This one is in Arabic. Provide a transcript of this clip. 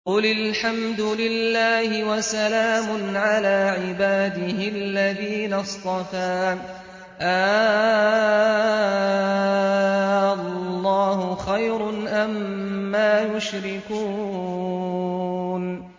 قُلِ الْحَمْدُ لِلَّهِ وَسَلَامٌ عَلَىٰ عِبَادِهِ الَّذِينَ اصْطَفَىٰ ۗ آللَّهُ خَيْرٌ أَمَّا يُشْرِكُونَ